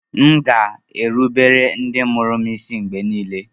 M ga-erubere ndị mụrụ m isi mgbe niile